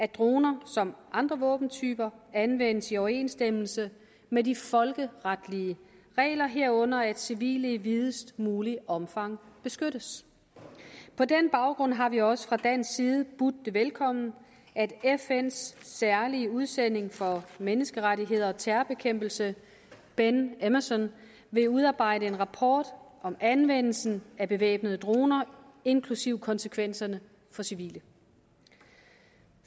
droner som andre våbentyper anvendes i overensstemmelse med de folkeretlige regler herunder at civile i videst muligt omfang beskyttes på den baggrund har vi også fra dansk side budt det velkommen at fns særlige udsending for menneskerettigheder og terrorbekæmpelse ben emmerson vil udarbejde en rapport om anvendelsen af bevæbnede droner inklusive om konsekvenserne for civile